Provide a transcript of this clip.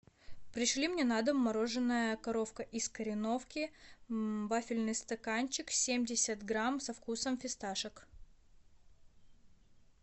пришли мне на дом мороженое коровка из кореновки вафельный стаканчик семьдесят грамм со вкусом фисташек